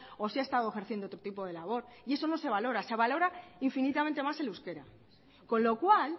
o si ha estado ejerciendo otro tipo de labor y eso no se valora se valora infinitamente más el euskera con lo cual